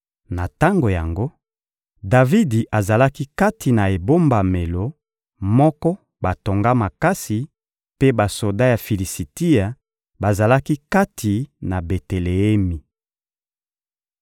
Na tango yango, Davidi azalaki kati na ebombamelo moko batonga makasi, mpe basoda ya Filisitia bazalaki kati na Beteleemi.